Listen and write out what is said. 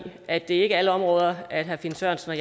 at det ikke alle områder herre finn sørensen